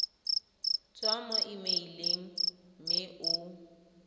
tswa mo emeileng mme o